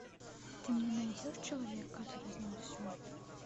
ты мне найдешь человек который знал все